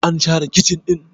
an share kicin ɗin?